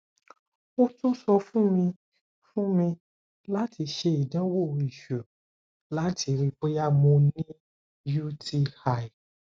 o tun sọ fun mi fun mi lati ṣe idanwo iṣu lati rii boya mo ni uti